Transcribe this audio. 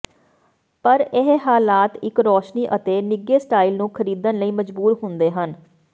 ਪਰ ਇਹ ਹਾਲਾਤ ਇੱਕ ਰੋਸ਼ਨੀ ਅਤੇ ਨਿੱਘੇ ਸਟਾਈਲ ਨੂੰ ਖਰੀਦਣ ਲਈ ਮਜਬੂਰ ਹੁੰਦੇ ਹਨ